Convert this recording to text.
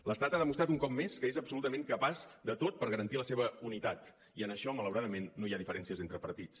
l’estat ha demostrat un cop més que és absolutament capaç de tot per garantir la seva unitat i en això malauradament no hi ha diferències entre partits